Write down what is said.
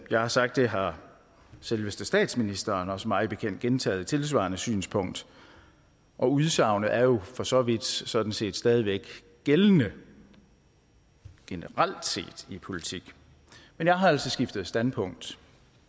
jeg har sagt det har selveste statsministeren også mig bekendt gentaget et tilsvarende synspunkt og udsagnet er jo for så vidt sådan set stadig væk gældende generelt set i politik men jeg har altså skiftet standpunkt